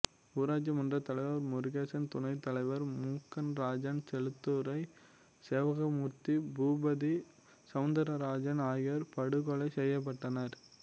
ஊராட்சி மன்றத் தலைவர் முருகேசன் துணைத் தலைவர் மூக்கன் ராஜா செல்லத்துரை சேவகமூர்த்தி பூபதி சௌந்தரராஜன் ஆகியோர் படுகொலை செய்யப்பட்டனர்